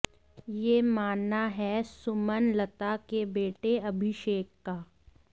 यह मानना है सुमनलता के बेटे अभिषेक का